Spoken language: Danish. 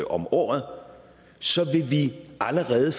om året så vil vi allerede